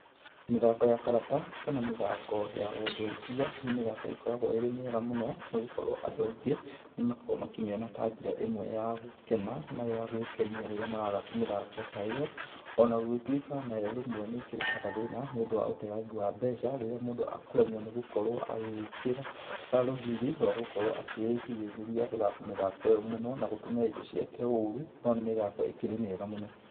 Mĩthako ya karata kana mĩthako ya wonjorithia, nĩ mĩthako ĩkoragwo ĩrĩ mĩega mũno nĩ gũkorwo andũ aingĩ nĩ makoragwo makĩmĩona ta njĩra ĩmwe ya gũkena, na ya gwĩkenia rĩrĩa marathaka mĩthako ta ĩyo, ona gũgĩtuĩka nayo rĩmwe nĩ ĩkĩrehaga thĩna nĩ ũndũ wa ũteangi wa mbeca rĩrĩa mũndũ akũremwo nĩ gũkorwo agĩkĩra rũgĩri rwa gũkorwo akĩĩgirĩrĩria gũthaka mĩthako ĩyo mũno, na gũtũmĩra indo ciake ũru no nĩ mĩthako ĩkĩrĩ mĩega mũno.